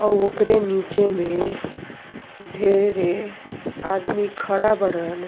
औ ओकरे नीचे में ढ़ेरे आदमी खड़ा बड़।